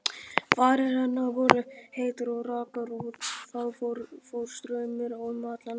Varir hennar voru heitar og rakar og það fór straumur um hann allan.